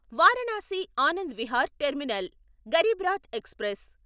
Varanasi Anand Vihar terminal Garib Rath express